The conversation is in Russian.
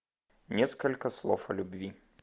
несколько слов о любви